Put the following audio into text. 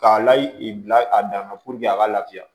K'a layi bila a dan na a ka lafiya